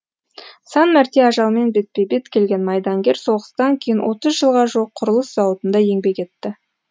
сан мәрте ажалмен бетпе бет келген майдангер соғыстан кейін отыз жылға жуық құрылыс зауытында еңбек етті